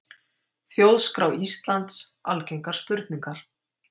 Þjóðskrá Íslands Algengar spurningar.